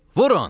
Vurun!